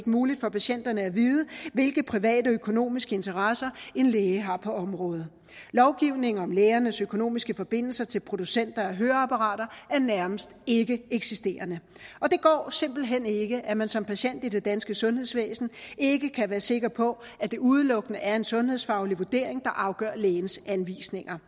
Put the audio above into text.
muligt for patienterne at vide hvilke private økonomiske interesser en læge har på området lovgivning om lægers økonomiske forbindelser til producenter af høreapparater er nærmest ikkeeksisterende og det går simpelt hen ikke at man som patient i det danske sundhedsvæsen ikke kan være sikker på at det udelukkende er en sundhedsfaglig vurdering der afgør lægens anvisninger